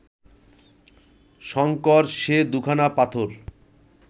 শঙ্কর সে দু’খানা পাথর